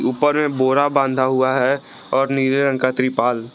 ऊपर में बोरा बांधा हुआ है और नीले रंग का त्रिपाल।